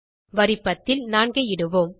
வரி 10 ல் 4 ஐ இடுவோம்